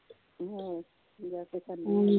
ਤਿਓਹੋਰ, ਜਾ ਕੇ ਖਾਣੇ